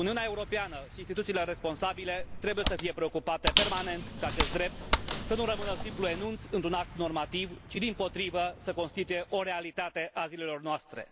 Uniunea Europeană și instituțiile responsabile trebuie să fie preocupate permanent ca acest drept să nu rămână un simplu enunț într un act normativ, ci, dimpotrivă, să constituie o realitate a zilelor noastre.